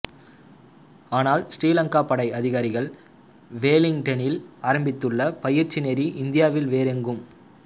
ஆனால் சிறிலங்காப் படை அதிகாரிகள் வெலிங்டனில் ஆரம்பித்துள்ள பயிற்சி நெறி இந்தியாவில் வேறெங்கும்